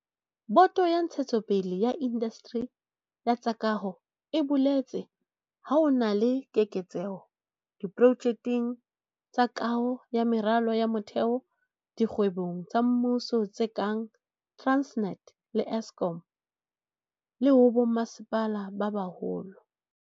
Boto ya Ntshetsopele ya Indasteri ya tsa Kaho e boletse ha ho na le keketseho diprojekeng tsa kaho ya meralo ya motheo dikgwebong tsa mmuso tse kang Transnet le Eskom, le ho bommasepala ba baholo.